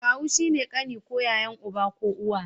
Kawu shine kani ko yayan uba ko uwa